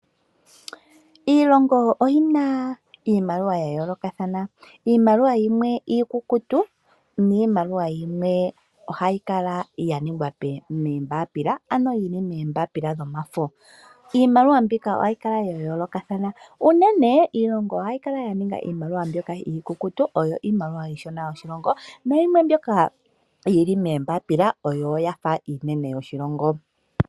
Iilongo oyi na iimaliwa ya yoolokathana. Iimaliwa yimwe iikukutu niimaliwa yimwe ohayi kala ya ningwa moombapila, ano yomafo. Iimaliwa mbika ohayi kala ya yoolokathana. Unene iilongo ohayi kala ya ninga iimaliwa mbyoka iikukutu oyo iimaliwa iishona yoshilongo nayimwe mbyoka yi li moombapila oyo ya fa iinene yoshilongo.